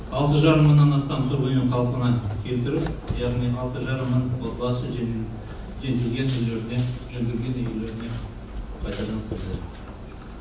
алты жарым мыңнан астам тұрғын үй қалпына келтіріп яғни алты жарым мың отбасы жетілген үйлеріне жөнделген үйлеріне қайтадан кірді